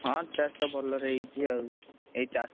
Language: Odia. ହଁ ଚାଷ ଭଲରେ ହେଇଛି, ଆଉ ଏଇ ଚାଷୀ?